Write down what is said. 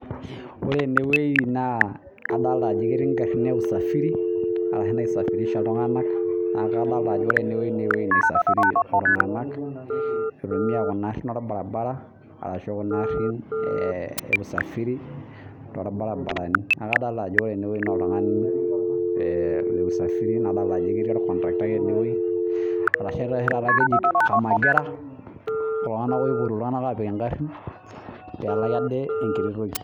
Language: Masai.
Ore ene wueji naa adolita ajo ketii garin e usafiri arashu naisafirish iltunganak, itumia Kuna arin olbaribara, ashu Kuna arin e usafiri .tobaribarani ore ene wueji naa oltungani le usafiri nadolita ajo ketii olkontaktai ene wueji. arashu oshi taata keji omagira, iltunganak oipotu iltunganak apik igarin. pee elaki ade enkiti wueji.